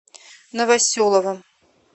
новоселовым